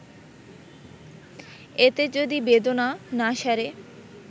এতে যদি বেদনা না সারে